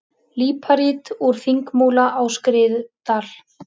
Líparít úr Þingmúla á Skriðdal.